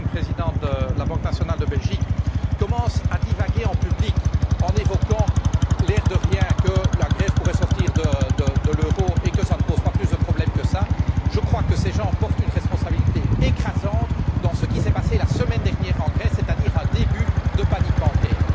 Coene, président de la banque nationale de Belgique, qui commence à divaguer en public en évoquant, l'air de rien, que la Grèce pourrait sortir de l'euro et que cela ne pose pas plus de problèmes que cela, je crois que c'est plus grave car ces gens portent une responsabilité écrasante dans ce qui s'est passé la semaine dernière, en Grèce, c'est à dire un début de panique bancaire.